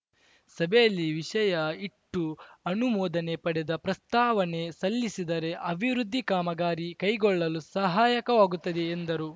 ಸಭೆಯಲ್ಲಿ ವಿಷಯ ಇಟ್ಟು ಅನುಮೋದನೆ ಪಡೆದ ಪ್ರಸ್ತಾವನೆ ಸಲ್ಲಿಸಿದರೆ ಅಭಿವೃದ್ಧಿ ಕಾಮಗಾರಿ ಕೈಗೊಳ್ಳಲು ಸಹಾಯಕವಾಗುತ್ತದೆ ಎಂದರು